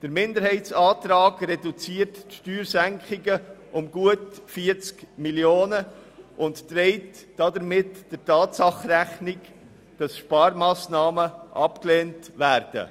Der Minderheitsantrag reduziert die Steuersenkungen um gut 40 Mio. Franken und trägt damit der Tatsache Rechnung, dass Sparmassnahmen abgelehnt werden.